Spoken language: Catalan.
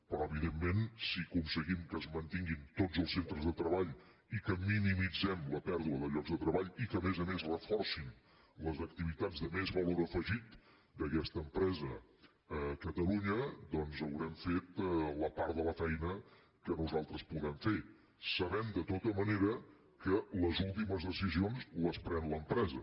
però evidentment si aconseguim que es mantinguin tots els centres de treball i minimitzem la pèrdua de llocs de treball i que a més a més reforcin les activitats de més valor afegit d’aquesta empresa a catalunya doncs haurem fet la part de la feina que nosaltres podem fer sabent de tota manera que les últimes decisions les pren l’empresa